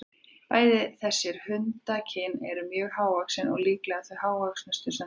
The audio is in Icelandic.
Bæði þessar hundakyn eru mjög hávaxin og líklega þau hávöxnustu sem þekkjast.